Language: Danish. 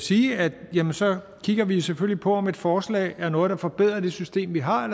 sige at så kigger vi selvfølgelig på om et forslag er noget der forbedrer det system vi har